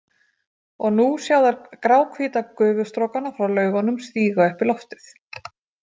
Og nú sjá þær gráhvíta gufustrókana frá Laugunum stíga upp í loftið.